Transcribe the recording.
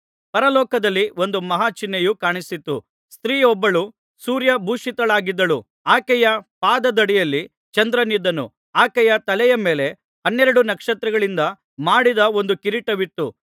ಪರಲೋಕದಲ್ಲಿ ಒಂದು ಮಹಾ ಚಿಹ್ನೆಯು ಕಾಣಿಸಿತು ಸ್ತ್ರೀಯೊಬ್ಬಳು ಸೂರ್ಯಭೂಶಿತಳಾಗಿದ್ದಳು ಆಕೆಯ ಪಾದದಡಿಯಲ್ಲಿ ಚಂದ್ರನಿದ್ದನು ಆಕೆಯ ತಲೆಯ ಮೇಲೆ ಹನ್ನೆರಡು ನಕ್ಷತ್ರಗಳಿಂದ ಮಾಡಿದ್ದ ಒಂದು ಕಿರೀಟವಿತ್ತು